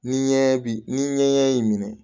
Ni ɲɛ bi ni ɲɛɲɛ y'i minɛ